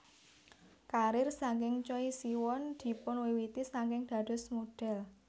Karir saking Choi Siwon dipunwiwiti saking dados modhel